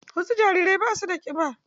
Wasu jarirai ba su da ƙiba.